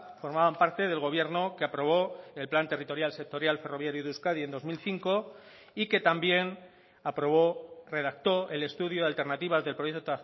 formaban parte del gobierno que aprobó el plan territorial sectorial ferroviario de euskadi en dos mil cinco y que también aprobó redactó el estudio de alternativas del proyecto